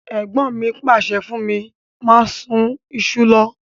Ègbọ́n mi pàsẹ fún mí máa sun isu lo